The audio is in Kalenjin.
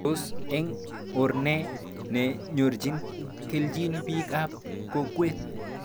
Tos eng or nee ne nyorchin kelchin pik ab kokwet